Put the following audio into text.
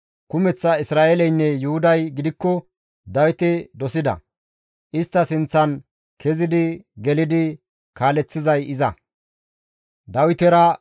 Kumeththa Isra7eeleynne Yuhuday gidikko Dawite dosida; istta sinththan kezidi, gelidi kaaleththizay iza.